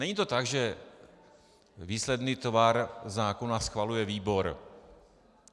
Není to tak, že výsledný tvar zákona schvaluje výbor.